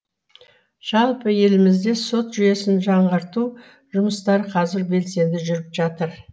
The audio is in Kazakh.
жалпы елімізде сот жүйесін жаңғырту жұмыстары қазір белсенді жүріп жатыр